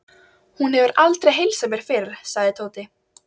Hún hefur aldrei heilsað mér fyrr, sagði Tóti.